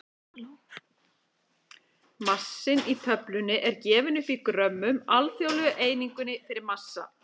Massinn í töflunni er gefinn upp í grömmum, alþjóðlegu einingunni fyrir massa.